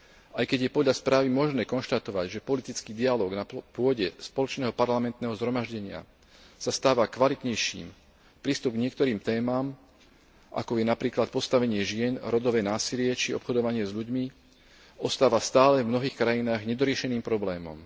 Aj keď je podľa správy možné konštatovať, že politický dialóg na pôde Spoločného parlamentného zhromaždenia sa stáva kvalitnejším, prístup k niektorým témam, ako je napríklad postavenie žien, rodové násilie či obchodovanie s ľuďmi, ostáva stále v mnohých krajinách nedoriešeným problémom.